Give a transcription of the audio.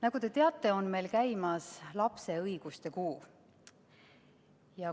Nagu te teate, on meil käimas lapse õiguste kuu.